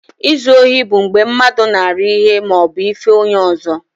Izu ohi bụ mgbe mmadụ nara ihe ma obu ife onye ọzọ.